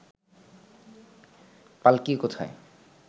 পাল্কী কোথায়